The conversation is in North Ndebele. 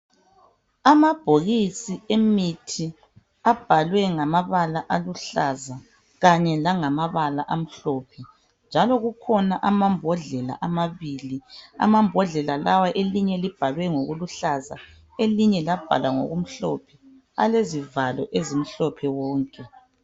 Amabhokisi emitthi abhalwe ngamabala aluhlaza kanye langamabala amhlophe. Njalo kukhona amabhodlela amabili. Amabhodlela lawa elinye libhalwe ngamabala aluhlaza, elinjye labhalwa ngokumhlophe alezivalo ezimhlophe wonke.